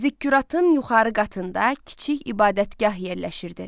Zikkuratın yuxarı qatında kiçik ibadətgah yerləşirdi.